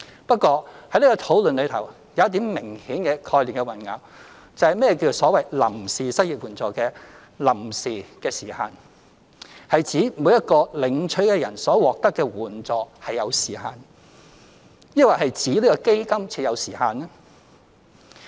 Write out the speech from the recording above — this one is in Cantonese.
不過，在這個討論中，有一點是明顯的概念混淆，就是何謂臨時失業援助金的臨時時限，是指每一個領取的人所獲得的援助是有時限，抑或是指這個基金設有時限？